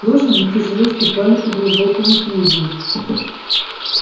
лошади тяжело ступали по глубокому снегу